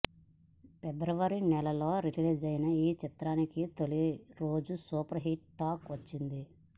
ఫిబ్రవరిలో రిలీజైన ఈ చిత్రానికి తొలిరోజు సూపర్ హిట్టు టాక్ వచ్చింది